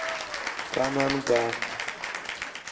кананга